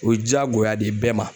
O ye jaagoya de ye bɛɛ ma.